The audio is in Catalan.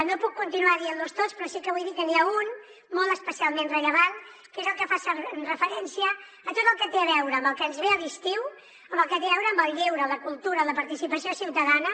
no puc continuar dient los tots però sí que vull dir que n’hi ha un molt especialment rellevant que és el que fa referència a tot el que té a veure amb el que ens ve a l’estiu amb el que té a veure amb el lleure la cultura la participació ciutadana